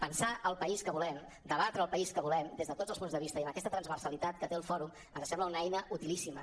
pensar el país que volem debatre el país que volem des de tots els punts de vista i amb aquesta transversalitat que té el fòrum ens sembla una eina utilíssima